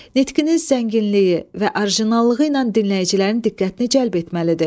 Nitqiniz zənginliyi və orijinallığı ilə dinləyicilərin diqqətini cəlb etməlidir.